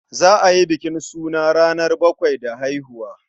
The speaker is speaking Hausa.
Za a yi bukin suna ranar bakwai da haihuwa.